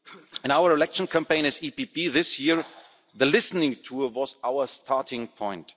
In our election campaign as the EPP this year, the listening tour was our starting point.